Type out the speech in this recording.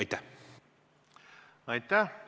Aitäh!